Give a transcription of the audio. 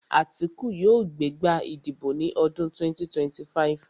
Àtíkù yóò gbé gbá ìdìbò ní ọdún 2025